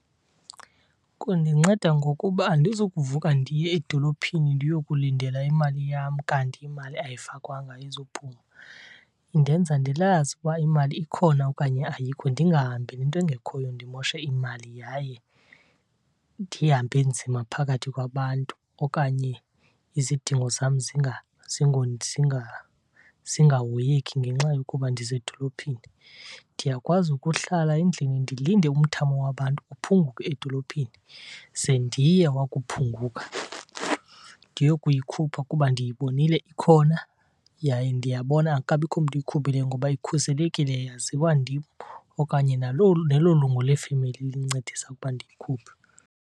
Kundinceda ngokuba andizukuvuka ndiye edolophini ndiyokulindela imali yam kanti imali ayifakwanga ayizuphuma. Indenza ndilazi ukuba imali ikhona okanye ayikho, ndingahambeli into engekhoyo ndimoshe imali yaye ndihambe nzima phakathi kwabantu, okanye izidingo zam zingahoyeki ngenxa yokuba ndisedolophini. Ndiyakwazi ukuhlala endlini ndilinde umthamo wabantu uphunguke edolophini ze ndiye wakuphunguka ndiyokuyikhupha kuba ndiyibonile ikhona, yaye ndiyabona akukabikho mntu uyikhuphileyo. Ngoba ikhuselekile yaziwa ndim okanye nelo lungu lefemeli lincedisa ukuba ndiyikhuphe.